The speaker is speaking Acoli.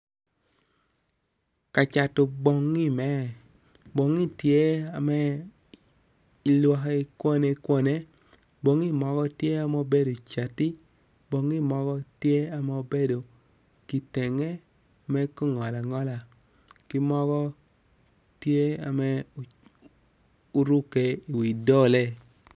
Ka acto bongi me, bongi tye ame ilwaki kwane kwane bongi mogo tye ame obedo cati bongi mogo tye ame obedo kitenge me ki ngolo angola ki mogo tye ame oruke i wi dole